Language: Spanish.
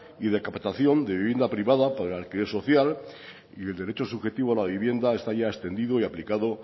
y de capitación de vivienda privada para el alquiler social y el derecho subjetivo a la vivienda está ya extendido y aplicado